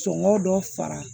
Sɔngɔ dɔ fara